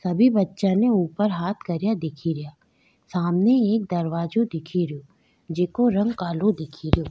सभी बच्चा ने ऊपर हाँथ करिया दिखेरया सामने एक दरवाजा दिखेरयो जेको रंग काला दिखेरयो।